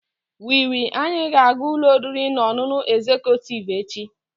We will Anyị ga-aga ụlọ oriri na ọṅụṅụ egzekutiivu echi.